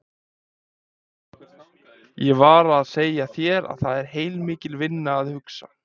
Ég var að segja þér að það er heilmikil vinna að hugsa.